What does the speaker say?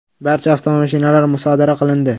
Barcha avtomashinalar musodara qilindi.